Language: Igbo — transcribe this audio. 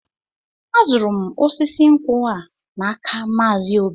Azụrụ m osisi nkwụ a n'aka Maazi Obi.